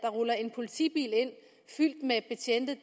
ruller en politibil ind fyldt med betjente